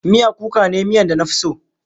Miya kuka ne miyan da na fi so.